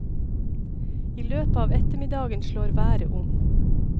I løpet av ettermiddagen slår været om.